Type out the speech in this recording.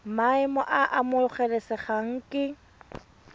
maemo a a amogelesegang ke